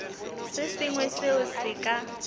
se sengwe seo se ka